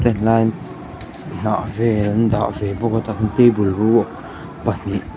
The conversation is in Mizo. hnah vel an dah ve bawk a dang table ruak pahnih--